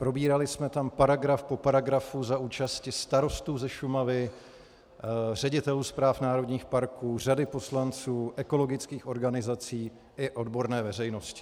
Probírali jsme tam paragraf po paragrafu za účasti starostů ze Šumavy, ředitelů správ národních parků, řady poslanců, ekologických organizací i odborné veřejnosti.